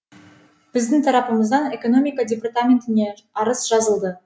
біздің тарапымыздан экономика департаментіне арыз жазылды